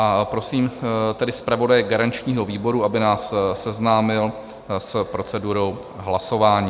A prosím tedy zpravodaje garančního výboru, aby nás seznámil s procedurou hlasování.